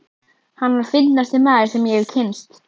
Hann var fyndnasti maður, sem ég hafði kynnst.